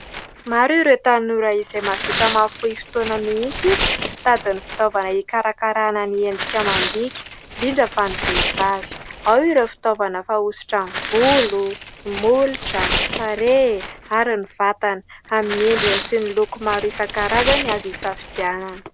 Maro ireo tanora izay mahavita mahafohy fotoana mihintsy mitady ny fitaovana hikarakarana ny endrika amam-bika indrindra fa ny vehivavy ; ao ireo fitaovana fanosotra ny volo sy molotra, ny tarehy ary ny vatana amin'ny endriny sy ny loko maro isankarazany azo hisafidianana.